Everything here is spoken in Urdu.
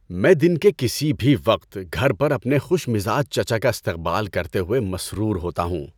میں دن کے کسی بھی وقت گھر پر اپنے خوش مزاج چچا کا استقبال کرتے ہوئے مسرور ہوتا ہوں۔